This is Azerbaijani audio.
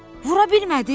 Vura bilmədin?